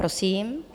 Prosím.